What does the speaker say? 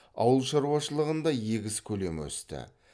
ауыл шаруашылығында егіс көлемі өсті